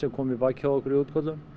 koma í bakið á okkur í útköllum